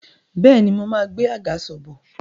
Bẹ́ẹ̀ni, mo máa gbé àgàsọ̀ bọ̀